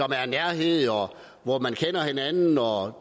der er nærhed hvor man kender hinanden og